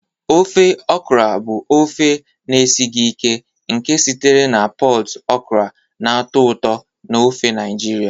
Ofe okra bụ ofe na-esighị ike nke sitere na pọd okra na-atọ ụtọ n'ofe Naijiria.